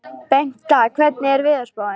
Bengta, hvernig er veðurspáin?